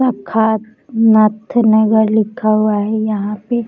शाखा नथनगर लिखा हुआ है यहां पे।